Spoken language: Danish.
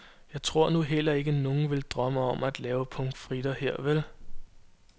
Jeg tror nu heller ikke, nogen vil drømme om at lave pommes frites her, vel.